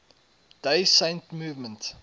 day saint movement